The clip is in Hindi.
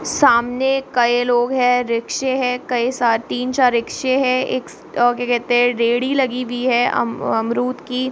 सामने कए लोग हैं रिक्शे है कई-सा तीन-चार रिक्शे है एक-ओ-क्या कहते हैरेड़ी लगी हुई है अम-अमरुद की।